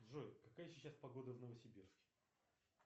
джой какая сейчас погода в новосибирске